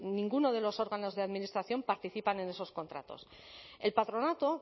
en ninguno de los órganos de administración participan en esos contratos el patronato